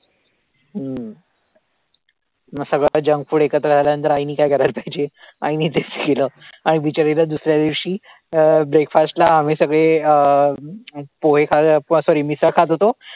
हम्म मग सगळं junk food एकत्र झाल्यानंतर आईने काय करायला पाहिजे, आईने तेच केलं आणि बिचरीला दुसऱ्यादिवशी अं breakfast ला आम्ही सगळे अं पोहे खा sorry मिसळ खात होतो आणि